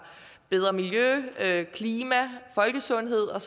bedre miljø klima folkesundhed og